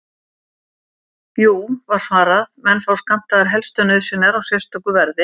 Jú, var svarað, menn fá skammtaðar helstu nauðsynjar á sérstöku verði.